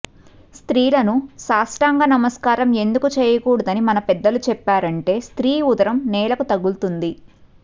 స్త్రీలను సాష్టాంగ నమస్కారం ఎందుకు చేయకూడదని మన పెద్దలు చెప్పారంటే స్త్రీ ఉదరం నేలకు తగులుతుంది